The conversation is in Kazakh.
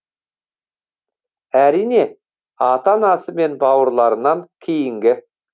әрине ата анасы мен бауырларынан кейінгі